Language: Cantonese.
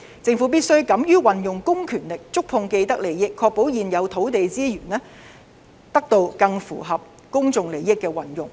政府必須敢於運用公權力觸碰既得利益，確保現有土地資源得到更符合公眾利益的運用。